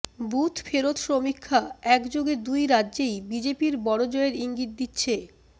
booth ফেরত সমীক্ষা একযোগে দুই রাজ্যেই বিজেপির বড় জয়ের ইঙ্গিত দিচ্ছে